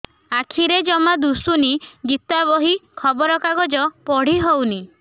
ଆଖିରେ ଜମା ଦୁଶୁନି ଗୀତା ବହି ଖବର କାଗଜ ପଢି ହଉନି